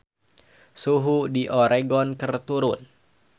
Suhu di Oregon keur turun